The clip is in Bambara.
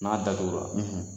N'a datugura,